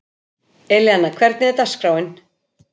Elíanna, hvernig er dagskráin?